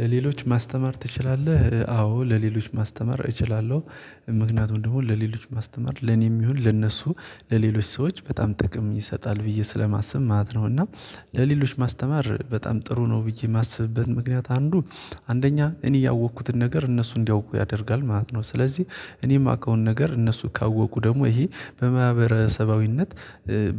ለሌሎች ማስተማር ትችላለህ አዎ ለሌሎች ማስተማር እችላለሁ ምክንያቱም ደግሞ ለሌሎች ማስተማር ለኔም ይሁን ለእነሱ ለሌሎች ሰዎች በጣም ጥቅም ይሰጣል ብዬ ስለማስብ ማለት ነው። እና ለሌሎች ማስተማር በጣም ጥሩ ነው ብዬ የማስብበት ምክንያት አንዱ አንደኛ እኔ ያወቅኩትን ነገር እነሱ እንዲያውቁ ያደርጋል ማለት ነው። ስለዚህ እኔ የማውቀውን ነገር እነሱ ካወቁ ደግሞ ይሄ በማህበረሰባዊነት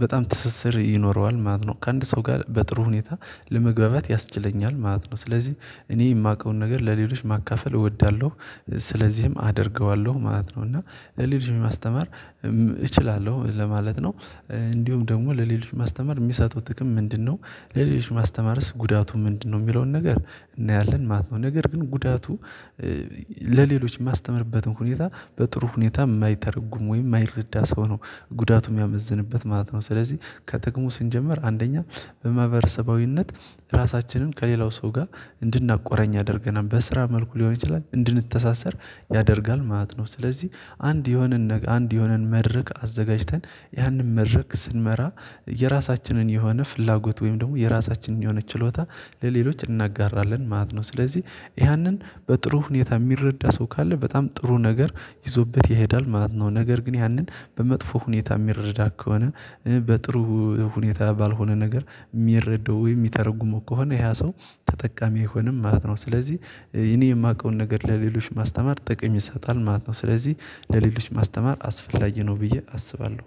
በጣም ትስስር ይኖረዋል ማለት ነው። ከአንድ ሰው ጋር በጥሩ ሁኔታ ለመግባባት ያስችለኛል ማለት ነው። ስለዚህ እኔ የማውቀውን ነገር ለሌሎች ማካፈል እወዳለሁ ስለዚህም አደርገዋለሁ ማለት ነው። እና ሌሎችን ማስተማር እችላለሁ ለማለት ነው። እንዲሁም ደግሞ ለሌሎች ማስተማር የሚሰጡት ጥቅም ምንድነው? ለሌሎች ማስተማርስ ጉዳቱ ምንድነው? የሚለውን ነገር እናያለን ማት ነው። ነገር ግን ጉዳቱ ለሌሎች የማስተምርበትን ሁኔታ በጥሩ ሁኔታ የማይተረጉም ወይም የማይረዳ ሰው ነው ጉዳቱ የሚያመዝንበት ማለት ነው። ስለዚህ ከጥቅሙ ስንጀምር አንደኛ በማህበረሰባዊነት ራሳችንን ከሌላው ሰው ጋር እንድናቆራኝ ያደርገናል በስራ መልኩ ሊሆን ይችላል እንድንተሳሰር ያደርጋል ማለት ነው። ስለዚህ አንድ የሆነን አንድ የሆነን መድረክ አዘጋጅተን ያንን መድረክ ስንመራ የራሳችንን የሆነ ፍላጎት ወይም ደግሞ የራሳችንን የሆነ ችሎታ ለሌሎች እናጋራለን ማለት ነው። ስለዚህ ያንን በጥሩ ሁኔታ የሚረዳ ሰው ካለ በጣም ጥሩ ነገር ይዞበት ይሄዳል ማለት ነው። ነገር ግን ያንን በመጥፎ ሁኔታ የሚረዳ ከሆነ በጥሩ ሁኔታ ባልሆነ ነገር የሚረዱ ወይ የሚተረጉሙ ከሆነ ያ ሰው ተጠቃሚ አይሆንም ማለት ነው። ስለዚህ እኔ የማውቀውን ነገር ለሌሎች ማስተማር ጥቅም ይሳጣል ማለት ነው። ስለዚህ ለሌሎች ማስተማር አስፈላጊ ነው ብዬ አስባለሁ